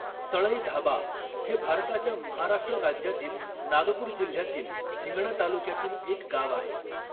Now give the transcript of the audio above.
सळईधाबा हे भारताच्या महाराष्ट्र राज्यातील नागपूर जिल्ह्यातील हिंगणा तालुक्यातील एक गाव आहे.